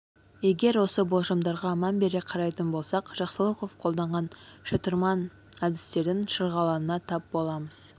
егер осы болжамдарға мән бере қарайтын болсақ жақсылықов қолданған шытырман әдістердің шырғалаңына тап боламыз